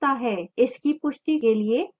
इसकी पुष्टि के लिए y दबाएं